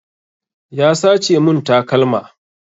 Ya sace mun takalma